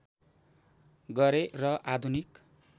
गरे र आधुनिक